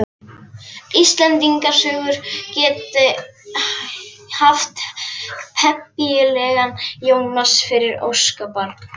Íslendingasögur geti haft pempíulegan Jónas fyrir óskabarn.